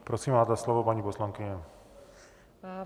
Prosím, máte slovo, paní poslankyně.